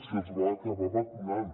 se’ls va acabar vacunant